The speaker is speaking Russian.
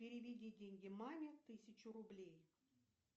переведи деньги маме тысячу рублей